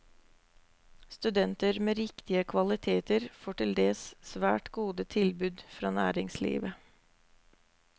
Studenter med riktige kvaliteter får til dels svært gode tilbud fra næringslivet.